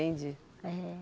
Entendi.